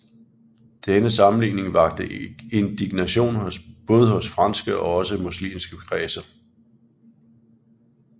Denne sammenligning vakte indignation både hos franske og også muslimske kredser